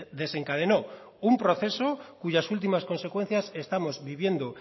desencadenó un proceso cuyas últimas consecuencias estamos viviendo